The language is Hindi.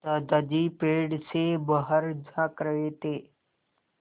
दादाजी पेड़ से बाहर झाँक रहे थे